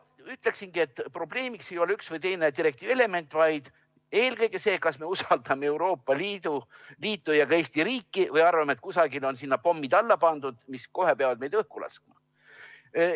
Ütleksin, et probleemiks ei ole üks või teine direktiivi element, vaid eelkõige see, kas me usaldame Euroopa Liitu ja ka Eesti riiki või arvame, et kusagile on pommid alla pandud, mis kohe peavad meid õhku laskma.